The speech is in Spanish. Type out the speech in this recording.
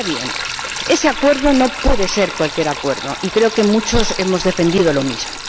Ahora bien, ese acuerdo no puede ser cualquier acuerdo, y creo que muchos hemos defendido lo mismo.